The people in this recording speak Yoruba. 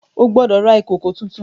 O gbódò rà ìkọkọ títún!